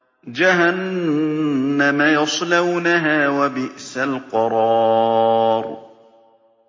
جَهَنَّمَ يَصْلَوْنَهَا ۖ وَبِئْسَ الْقَرَارُ